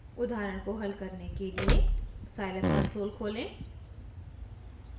उदाहरण को हल करने के लिए scilab कंसोल खोलें